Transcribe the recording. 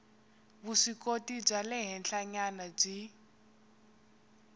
vuswikoti bya le henhlanyana byi